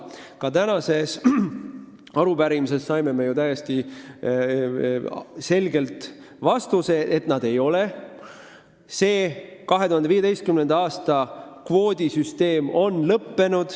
Aga tänase arupärimise käigus saime täiesti selge vastuse, et nii see ei ole – 2015. aasta kvoodisüsteem enam ei kehti.